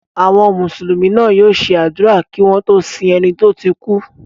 Àwọn Mùsùlùmí náà yóò ṣe àdúrà kí wọ́n tó sin ẹni tó ti kú.